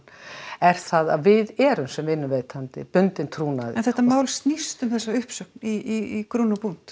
er það að við erum sem vinnuveitandi bundin trúnaði en þetta mál snýst um þessa uppsögn í